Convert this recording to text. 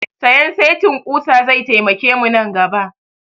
Sayan setin ƙusa zai taimake mu nan gaba